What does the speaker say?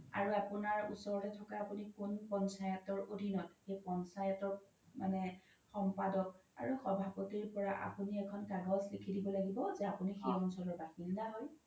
আৰু আপোনাৰ ওচৰতে থকা আপোনি কোন পঞ্চায়তৰ অধিনত পঞ্চায়তৰ মানে সমপাদক আৰু সভাপতিৰ আপোনি এখন কাগজ লিখি দিব লাগিব যে আপোনি সেই অঞ্চলৰ বাসিনদা হয়